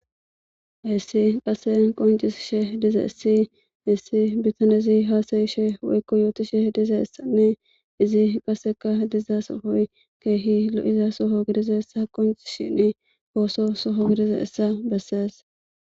hessi qase qoncis she diza issi hissi bitan izi haasayishe woykko yooti she diza essanne izi qaseka diza sohoy keehi lo7iza soho gidiza ssa qoonci shinn pooso soho gidiza essa bessees